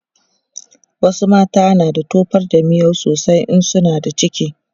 wasu mata na da tofar da miyau sosai in suna da ciki